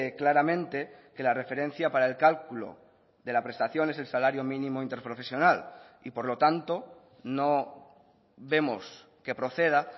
claramente que la referencia para el cálculo de la prestación es el salario mínimo interprofesional y por lo tanto no vemos que proceda